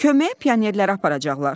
Köməyə pionerləri aparacaqlar.